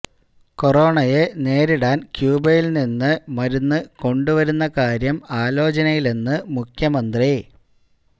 കൊറോണയെ നേരിടാൻ ക്യൂബയിൽ നിന്നും മരുന്ന് കൊണ്ടുവരുന്ന കാര്യം ആലോചനയിലെന്ന് മുഖ്യമന്ത്രി